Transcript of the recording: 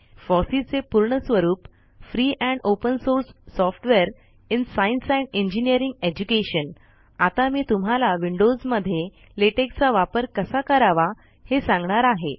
FOSSEE चे पूर्ण स्वरूप free and open source software in science and engineering education आता मी तुम्हाला विंडोज मध्ये लेटेक चा वापर कसा करावा हे सांगणार आहे